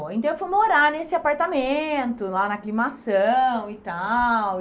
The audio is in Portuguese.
Então eu fui morar nesse apartamento, lá na aclimação e tal.